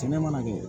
Sɛnɛ mana kɛ